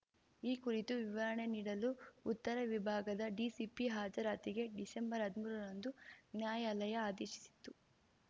ಈ ಕುರಿತು ವಿವರಣೆ ನೀಡಲು ಉತ್ತರ ವಿಭಾಗದ ಡಿಸಿಪಿ ಹಾಜರಾತಿಗೆ ಡಿಸೆಂಬರ್ಹದಿಮೂರರಂದು ನ್ಯಾಯಾಲಯ ಆದೇಶಿಸಿತ್ತು